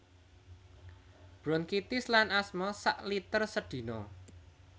Bronkitis lan asma sak liter sedina